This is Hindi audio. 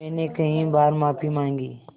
मैंने कई बार माफ़ी माँगी